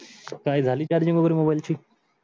काही झाली charging वगैरे mobile ची?